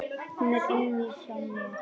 Hún er inni hjá mér.